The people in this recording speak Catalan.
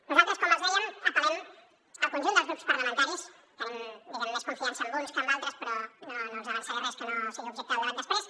nosaltres com els dèiem apel·lem al conjunt dels grups parlamentaris tenim diguem ne més confiança en uns que en d’altres però no els avançaré res que no sigui objecte del debat després